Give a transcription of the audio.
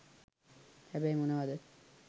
හැබැයි මොනවද